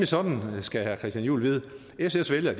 sådan skal herre christian juhl vide at sfs vælgere